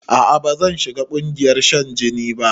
A'a bazan shiga ƙungayar shan jini ba